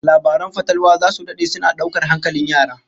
Labaran fatalwa zasu dade suna daukar hankalin yara